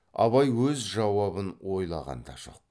абай өз жауабын ойлаған да жоқ